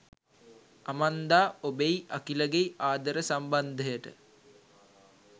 Amanda ඔබෙයි අකිලගෙයි ආදර සම්බන්ධයට